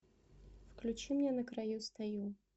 включи мне на краю стою